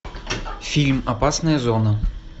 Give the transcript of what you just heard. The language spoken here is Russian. фильм опасная зона